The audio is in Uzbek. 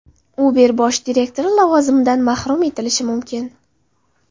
Uber bosh direktori lavozimidan mahrum etilishi mumkin.